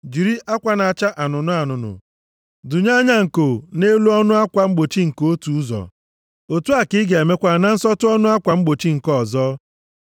Jiri akwa na-acha anụnụ anụnụ dụnye anya nko nʼelu ọnụ akwa mgbochi nke otu ụzọ, otu a ka ị ga-emekwa na nsọtụ ọnụ akwa mgbochi nke ọzọ.